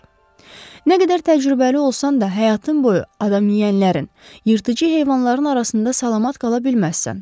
Nə qədər təcrübəli olsan da, həyatın boyu adamyeyənlərin, yırtıcı heyvanların arasında salamat qala bilməzsən.